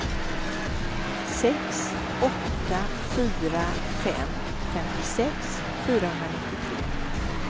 sex åtta fyra fem femtiosex fyrahundranittiotre